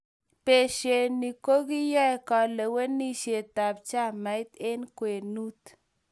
beshe ni, ko kiyoe kalewenisietab chamait eng' kwenut.